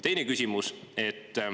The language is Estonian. Teine küsimus.